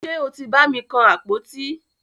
Ṣe o tí bàmi kan àpótí?